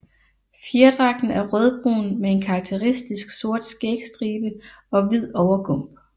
Fjerdragten er rødbrun med en karakteristisk sort skægstribe og hvid overgump